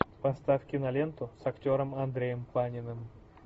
поставь киноленту с актером андреем паниным